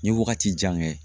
N ye wagati jan kɛ